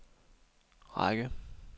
række